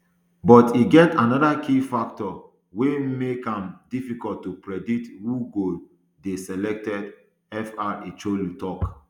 but e get anoda key factor wey make am difficult to predict who go dey selected fr chu ilo tok